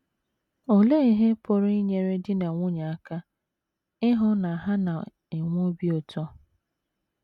Olee Ihe Pụrụ Inyere Di na Nwunye Aka Ịhụ na Ha Na - enwe Obi Ụtọ?